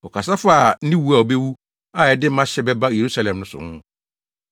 Wɔkasa faa ne wu a obewu a ɛde mahyɛ bɛba Yerusalem so no ho.